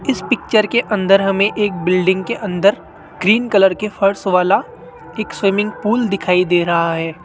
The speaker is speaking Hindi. इस पिक्चर के अंदर हमे एक बिल्डिंग के अंदर ग्रीन कलर के फर्श वाला एक स्विमिंग पूल दिखाई दे रहा है।